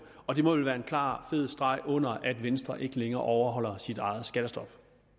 og det må vel være en klar fed streg under at venstre ikke længere overholder sit eget skattestop